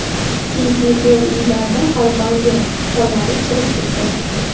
Chunki, bu uylarda podval yo‘q, pollari chirib ketgan.